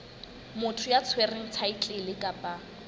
motho ya tshwereng thaetlele kapa